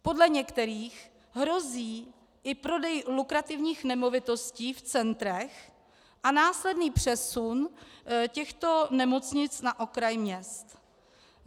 Podle některých hrozí i prodeji lukrativních nemovitostí v centrech a následný přesun těchto nemocnic na okraj měst.